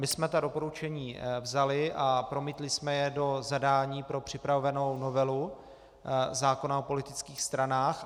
My jsme ta doporučení vzali a promítli jsme je pro zadání pro připravovanou novelu zákona o politických stranách.